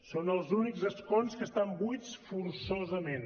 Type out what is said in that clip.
són els únics escons que estan buits forçosament